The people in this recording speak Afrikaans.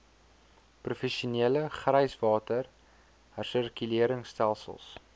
professionele gryswater hersirkuleringstelsels